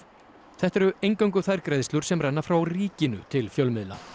þetta eru eingöngu þær greiðslur sem renna frá ríkinu til fjölmiðla